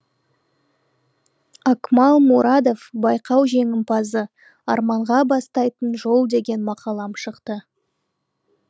акмал мурадов байқау жеңімпазы арманға бастайтын жол деген мақалам шықты